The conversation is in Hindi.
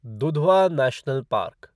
Dudhwa national park